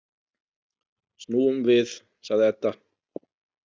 Snúum við, sagði Edda.